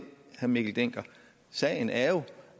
herre mikkel dencker sagen er jo